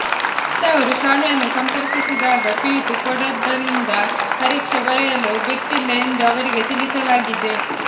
ಹೆತ್ತವರು ಶಾಲೆಯನ್ನು ಸಂಪರ್ಕಿಸಿದಾಗ ಫೀಸು ಕೊಡದ್ದರಿಂದ ಪರೀಕ್ಷೆ ಬರೆಯಲು ಬಿಟ್ಟಿಲ್ಲ ಎಂದು ಅವರಿಗೆ ತಿಳಿಸಲಾಗಿದೆ